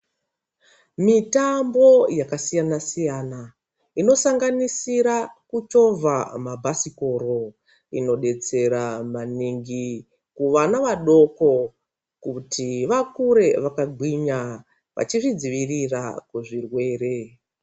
Mitambo yakasiyana siyana inosanganisira kuchovha mabhasikoro inobetsera maningi kuvana vadoko kuti vakure vakagwinya vachizvidzivirira kuzvirwere.